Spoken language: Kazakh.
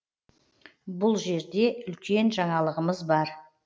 бұ жерде үлкен жаңалығымыз бар